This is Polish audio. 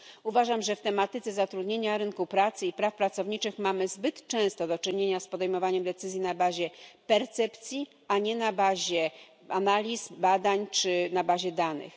Uważam, że w tematyce zatrudnienia, rynku pracy i praw pracowniczych mamy zbyt często do czynienia z podejmowaniem decyzji na bazie percepcji, a nie na bazie analiz, badań czy na bazie danych.